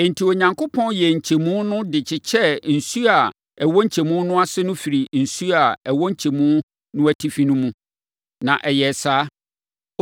Enti, Onyankopɔn yɛɛ nkyɛmu no de kyekyɛɛ nsuo a ɛwɔ nkyɛmu no ase firii nsuo a ɛwɔ nkyɛmu no atifi no mu. Na ɛyɛɛ saa.